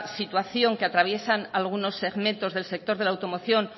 situación que atraviesan algunos segmentos del sector de la automoción